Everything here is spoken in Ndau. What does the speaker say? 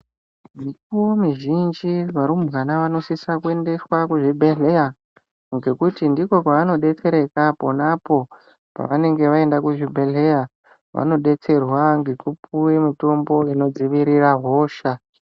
Mikuwo mizhinji varumbwana vanosiswa kuendeswa kuzvibhedhlera ngekuti ndiko kwavanodetsereka ponapo pavanenge vaenda kuzvibhedhlera vanodetserwa ngekupiwa mitombo inodzivirira hosha.